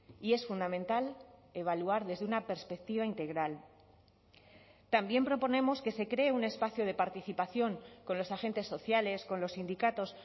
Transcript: y es fundamental evaluar desde una perspectiva integral también proponemos que se cree un espacio de participación con los agentes sociales con los sindicatos